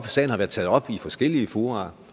sagen har været taget op i forskellige fora